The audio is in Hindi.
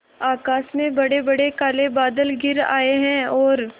आकाश में बड़ेबड़े काले बादल घिर आए हैं और